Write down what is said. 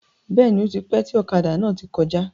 Bẹ́ẹ̀ni, ótipẹ́ tí ọ̀kadà náà tí kọjá.